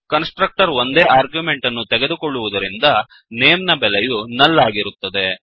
ಕನ್ಸ್ ಟ್ರಕ್ಟರ್ ಒಂದೇ ಆರ್ಗ್ಯುಮೆಂಟ್ ಅನ್ನು ತೆಗೆದುಕೊಳ್ಳುವುದರಿಂದ ನೇಮ್ ನೇಮ್ ನ ಬೆಲೆಯು ನುಲ್ ಆಗಿರುತ್ತದೆ